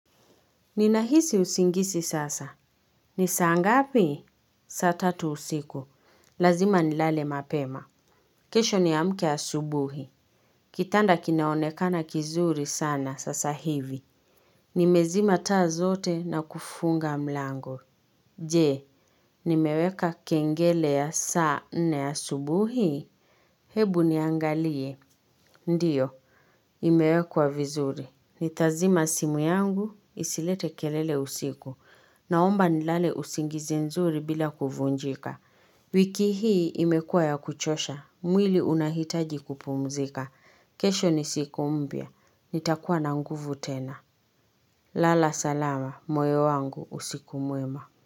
Nina hisi usingisi sasa. Ni saa ngapi? Sata tatusiku. Lazima ni lale mapema. Kesho ni a mke ya subuhi. Kitanda kinaonekana kizuri sana sasa hivi. Ni mezima taa zote na kufunga mlango. Je, ni meweka kengele ya saa na ya subuhi? Hebu niangalie. Ndiyo. Imewekwa vizuri. Ni tazima simu yangu, isilete kelele usiku. Naomba nilale usingizi nzuri bila kuvunjika. Wiki hii imekua ya kuchosha. Mwili unahitaji kupumzika. Kesho ni siku umbya. Nitakuwa na nguvu tena. Lala salama. Moyo wangu usiku muema.